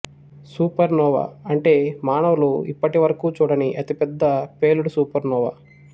super Noah అంటే మానవులు ఇప్పటివరకు చూడని అతి పెద్ద పేలుడు సూపర్నోవా